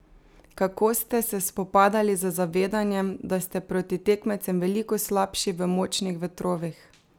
Kako ste se spopadali z zavedanjem, da ste proti tekmecem veliko slabši v močnih vetrovih?